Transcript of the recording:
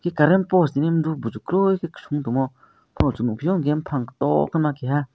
ki current post nimrok bujo koroi somtangmo chung nogpio jeng pang too ma keha.